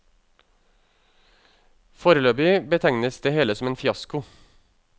Foreløpig betegnes det hele som en fiasko.